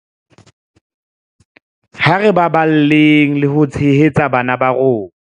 Ha re baballeng le ho tshehetsa bana ba rona.